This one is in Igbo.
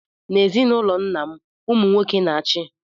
N'ezinụlọ nna m, ụmụ nwoke na-achị.